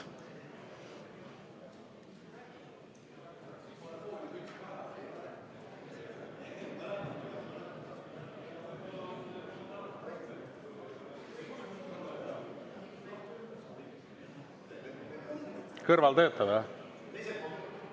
Kõrval töötab, jah?